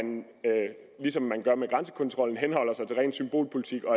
ligesom man gør med grænsekontrollen henholder sig til ren symbolpolitik og